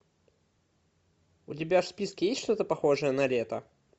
у тебя в списке есть что то похожее на лето